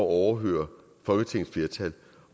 overhøre folketingets flertal